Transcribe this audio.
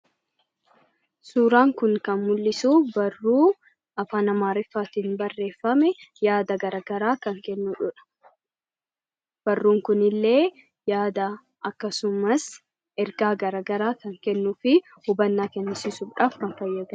Suuraan kun kan mul'isu barruu afaan Amaariffaatiin kan barreeffame, yaada garaagaraa kan kennuudha. Barruun kun illee yaada akkasumas ergaa garaagaraa kan kennuu fi hubannaa kennisiisuudhaaf kan fayyaduudha.